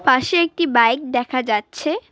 পাশে একটি বাইক দেখা যাচ্ছে।